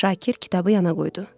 Şakir kitabı yana qoydu.